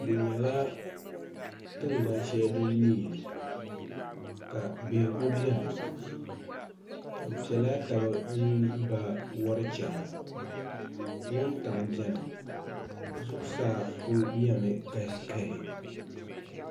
di nyɛla tingbani shɛli din me yili ka bihigu beni bɛ pɛla taba m-ba yuri chana wuntaŋa beni zuɣusaa ku nɛmi kahikahi